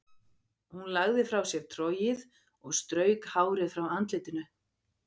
Hún lagði frá sér trogið og strauk hárið frá andlitinu.